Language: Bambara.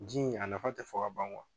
Ji in a nafa ti fɔ ka ban